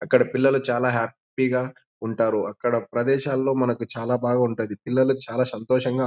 అక్కడ పిల్లలు చాల హ్యాపీ గ ఉంటారు.అక్కడ ప్రదేశ్లో మనకు చాల బాగా ఉంటది పిల్లలు చాల సంతోషంగా--